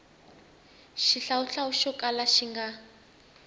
xihlawuhlawu xo kala xi nga